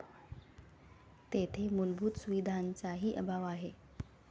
तेथे मूलभूत सुविधांचाही अभाव आहे.